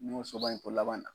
N y'o soba in fo laban na.